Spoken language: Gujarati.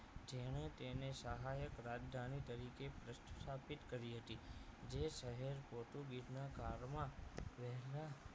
જેને તેને સહાયક રાજધાની તરીકે સ્થાપિત કરી હતી જે શહેર પોર્ટુગીઝ ના કાળમાં વહેલા